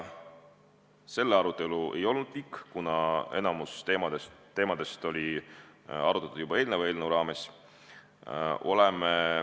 See arutelu ei olnud pikk, kuna enamikku teemadest oli arutatud juba eelneva eelnõu raames.